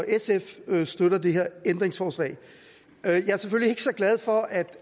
sf støtter det her ændringsforslag jeg er selvfølgelig ikke så glad for at